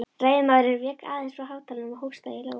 Ræðumaðurinn vék aðeins frá hátalaranum og hóstaði í lófann.